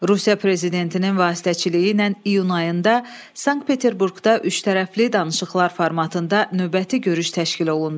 Rusiya prezidentinin vasitəçiliyi ilə iyun ayında Sankt-Peterburqda üçtərəfli danışıqlar formatında növbəti görüş təşkil olundu.